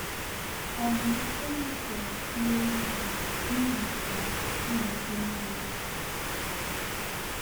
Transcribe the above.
um Oyi turu nwa ewu ha nihi um ino ebe mmiri di.